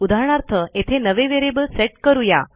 उदाहरणार्थ येथे नवे व्हेरिएबल सेट करू या